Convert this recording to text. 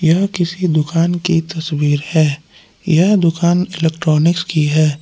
यह किसकी दुकान की तस्वीर है यह दुकान इलेक्ट्रॉनिक्स की है।